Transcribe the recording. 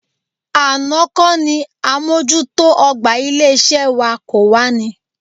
Àná kọ́ ni àmójútó ọ̀gbà ilé-iṣẹ́ wa kò wá ní?